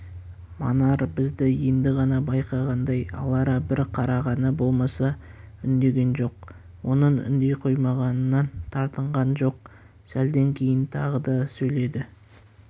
манар бізді енді ғана байқағандай алара бір қарағаны болмаса үндеген жоқ оның үндей қоймағанынан тартынған жоқ сәлден кейін тағы сөйледі